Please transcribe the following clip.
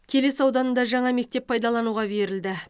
келес ауданында жаңа мектеп пайдалануға берілді